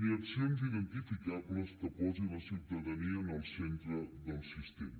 ni accions identificables que posin la ciutadania en el centre del sistema